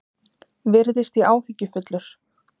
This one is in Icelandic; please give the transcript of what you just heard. Virðist ég áhyggjufullur?